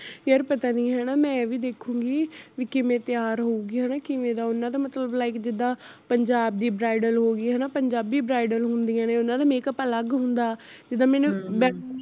ਯਾਰ ਪਤਾ ਨੀ ਹੈਨਾ ਮੈਂ ਵੀ ਦੇਖੂਗੀ ਵੀ ਕਿਵੇਂ ਤਿਆਰ ਹੋਊਗੀ ਹੈਨਾ ਕਿਵੇਂ ਓਹਨਾ ਦਾ ਮਤਲਬ like ਜਿਦਾਂ ਪੰਜਾਬ ਦੀ bridal ਹੋਗੀ ਹੈਨਾ ਪੰਜਾਬੀ bridal ਹੁੰਦੀਆ ਨੇ ਓਹਨਾ ਦਾ make up ਅਲਗ ਹੁੰਦਾ, ਜਿਦਾਂ ਮੈਨੂੰ